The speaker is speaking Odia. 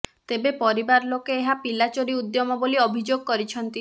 ତେବେ ପରିବାର ଲୋକେ ଏହା ପିଲାଚୋରି ଉଦ୍ୟମ ବୋଲି ଅଭିଯୋଗ କରିଛନ୍ତି